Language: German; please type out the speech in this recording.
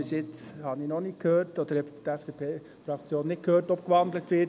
Bis jetzt hat die FDP-Fraktion noch nicht gehört, ob gewandelt wird;